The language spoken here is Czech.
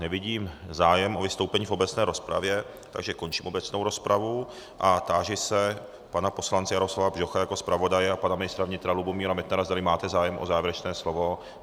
Nevidím zájem o vystoupení v obecné rozpravě, takže končím obecnou rozpravu a táži se pana poslance Jaroslava Bžocha jako zpravodaje a pana ministra vnitra Lubomíra Metnara, zdali máte zájem o závěrečné slovo.